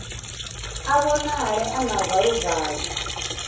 a vhonale a na valuvalu